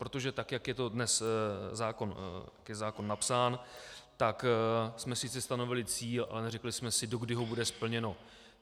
Protože tak jak je dnes zákon napsán, tak jsme sice stanovili cíl, ale neřekli jsme si, dokdy to bude splněno.